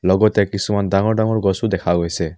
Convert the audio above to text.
লগতে কিছুমান ডাঙৰ ডাঙৰ গছো দেখা গৈছে।